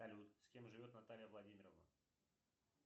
салют с кем живет наталья владимировна